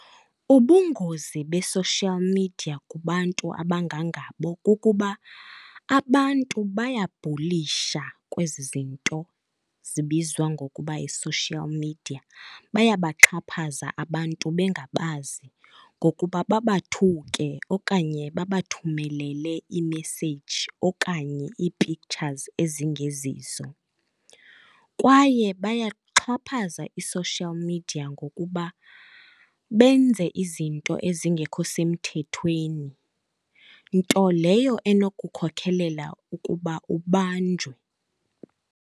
Ubungozi be-social media kubantu abangangabo kukuba abantu bayabhulisha kwezi zinto zibizwa ngokuba yi-social media. Bayabaxhaphaza abantu bengabazi ngokuba babathuke okanye babathumelele iimeseyiji okanye ii-pictures ezingezizo. Kwaye bayaxhaphaza i-social media ngokuba benze izinto ezingekho semthethweni, nto leyo enokukhokhelela ukuba ubanjwe.